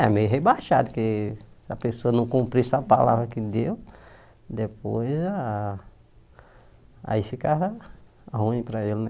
É, meio rebaixado, porque se a pessoa não cumprisse a palavra que deu, depois a aí ficava ruim para ele, né?